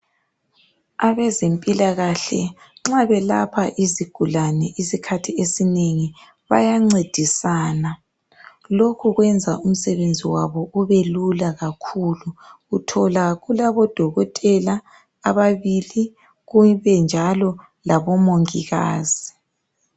Abezempilakahle nxa belapha isigulane isikhathi esinengi bayancedisana. Lokhu kwenza umsebenzi wabo ubelula kakhulu. Uthola kulabodokotela ababili kube njalo labomongikazi.